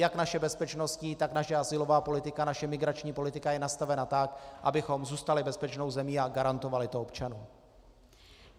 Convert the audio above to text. Jak naše bezpečnostní, tak naše azylová politika, naše migrační politika je nastavena tak, abychom zůstali bezpečnou zemí a garantovali to občanům.